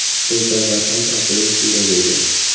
Bu safar ham, aftidan, shunday bo‘lgan.